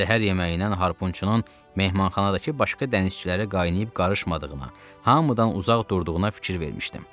Səhər yeməyindən harpunçunun mehmanxanadakı başqa dənizçilərə qaynayıb qarışmadığına, hamıdan uzaq durduğuna fikir vermişdim.